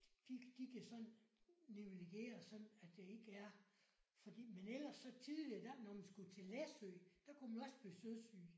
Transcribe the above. De de kan sådan nivellere sådan at det ikke er fordi men ellers så tidlig der når man skulle til Læsø der kunne man også blive søsyg